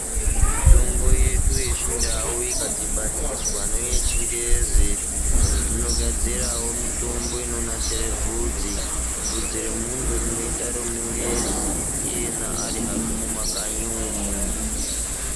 Mitombo yedu yechindau ikadhibaniswa neyechingezi zvinogadzirawo mitombo inonasire bvudzi ,bvudzi remunhu rinoita remungezi iyena ari hake mumakanyi umwu.